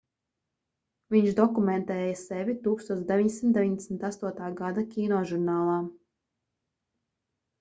viņš dokumentēja sevi 1998. gada kinožurnālā